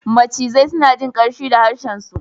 Macizai suna jin ƙanshi da harshensu.